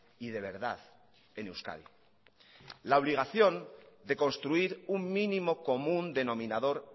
y de verdad en euskadi la obligación de construir un mínimo común denominador